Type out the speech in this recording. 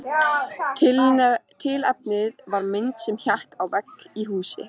Tilefnið var mynd sem hékk á vegg í húsi.